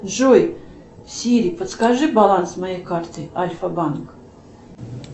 джой сири подскажи баланс моей карты альфа банк